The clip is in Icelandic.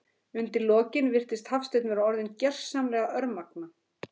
Undir lokin virðist Hafsteinn vera orðinn gersamlega örmagna.